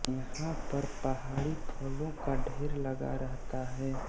यहाँ पर पहाड़ी फलों का ढेर लगा रहता है